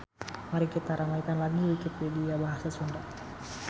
Mari kita ramaikan lagi wikipedia bahasa Sunda.